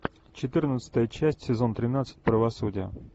четырнадцатая часть сезон тринадцать правосудие